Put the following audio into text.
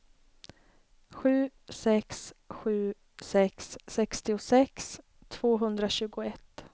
sju sex sju sex sextiosex tvåhundratjugoett